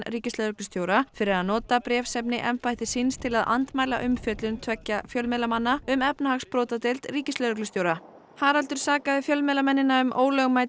ríkislögreglustjóra fyrir að nota bréfsefni embættis síns til að andmæla umfjöllun tveggja fjölmiðlamanna um efnahagsbrotadeild ríkislögreglustjóra Haraldur sakaði fjölmiðlamennina um ólögmæta